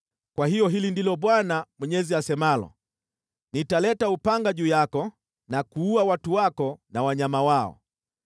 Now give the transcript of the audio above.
“ ‘Kwa hiyo hili ndilo Bwana Mwenyezi asemalo: Nitaleta upanga juu yako na kuua watu wako na wanyama wao.